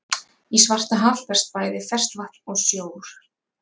Í Svartahaf berst bæði ferskt vatn og sjór.